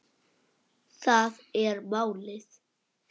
Það er málið.